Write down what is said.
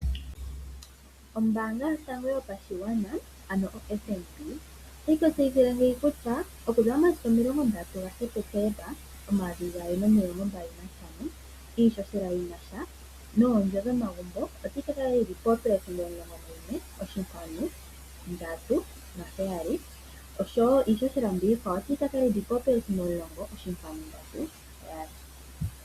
Ombanga yotango yopashigwana ano oFNB, otayi tu tseyithile ngeyi kutya okuza momasiku 30 September 2025 iihohela yinasha noondjo dhomagumbo otayi ka kala yili 11.37% osho wo iihohela mbiyaka iikwawo otayi ka kala 10. 37%.